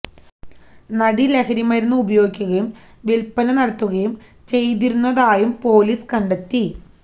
നടി ലഹരിമരുന്ന് ഉപയോഗിക്കുകയും വില്പ്പന നടത്തുകയും ചെയ്തിരുന്നതായും പൊലീസ് കണ്ടെത്തി